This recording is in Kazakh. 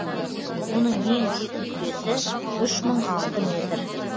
оның ең биік нүктесі үш мың алты метр